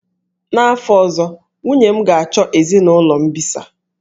N'afọ ọzọ, nwunye m ga-achọ ezinụlọ mbisa.